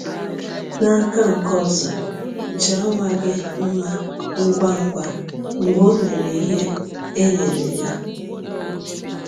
N’aka nke ọzọ, jaa nwa gị mma ngwa ngwa mgbe o mere ihe e nyere ya.